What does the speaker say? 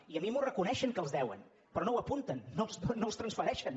i a mi m’ho reconeixen que els deuen però no ho apunten no els transfereixen